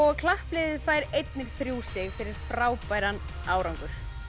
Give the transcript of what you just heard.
klappliðið fær einnig þrjú stig fyrir frábæran árangur